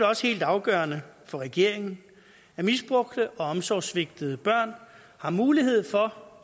også helt afgørende for regeringen at misbrugte og omsorgssvigtede børn har mulighed for